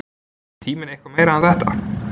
er tíminn eitthvað meira en þetta